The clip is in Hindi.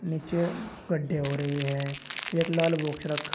नीचे गड्ढे हो रहे हैं एक लाल बॉक्स रख--